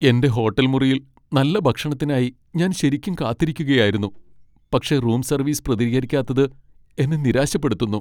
എന്റെ ഹോട്ടൽ മുറിയിൽ നല്ല ഭക്ഷണത്തിനായി ഞാൻ ശരിക്കും കാത്തിരിക്കുകയായിരുന്നു, പക്ഷേ റൂം സർവീസ് പ്രതികരിക്കാത്തത് എന്നെ നിരാശപ്പെടുത്തുന്നു.